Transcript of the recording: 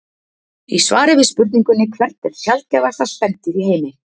Í svari við spurningunni Hvert er sjaldgæfasta spendýr í heimi?